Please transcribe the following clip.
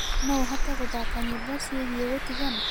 no ũhote gũthaka nyĩmbo ciĩgie gutigana